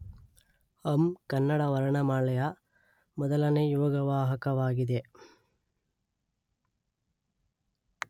ಅಂ ಕನ್ನಡ ವರ್ಣಮಾಲೆಯ ಮೊದಲನೇ ಯೋಗವಾಹಕವಾಗಿದೆ